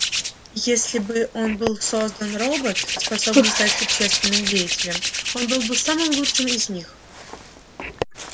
если он был создан робот способный стать общественным деятелем он был бы самым лучшим из них